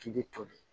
K'i bɛ toli